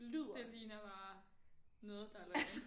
Det ligner bare noget der er lavet